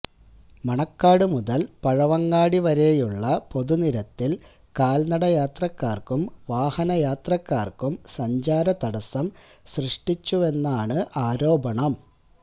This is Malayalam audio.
മണക്കാട് മുതല് പഴവങ്ങാടി വരെയുള്ള പൊതുനിരത്തില് കാല്നടയാത്രക്കാര്ക്കും വാഹന യാത്രക്കാര്ക്കും സഞ്ചാര തടസം സൃഷ്ടിച്ചുവെന്നാണ് ആരോപണം